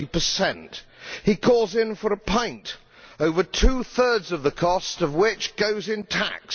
20. He calls in for a pint, over two thirds of the cost of which goes in tax.